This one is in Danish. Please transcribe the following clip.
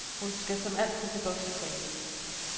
Hun skal som altid til boksetræning.